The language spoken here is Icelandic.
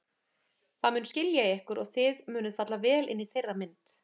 Það mun skilja ykkur og þið munuð falla vel inn í þeirra mynd.